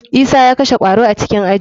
Isa ya kashe kwaro a cikin aji.